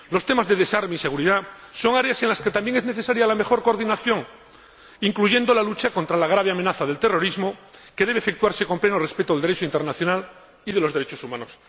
Los temas de desarme y seguridad son áreas en las que también es necesaria la mejor coordinación, incluyendo la lucha contra la grave amenaza del terrorismo, que debe efectuarse con pleno respeto del Derecho internacional y de los derechos humanos.